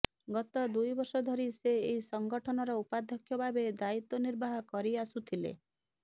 ଗତ ଦୁଇ ବର୍ଷ ଧରି ସେ ଏହି ସଂଗଠନର ଉପାଧ୍ୟକ୍ଷ ଭାବେ ଦାୟିତ୍ୱ ନିର୍ବାହ କରିଆସୁଥିଲେ